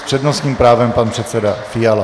S přednostním právem pan předseda Fiala.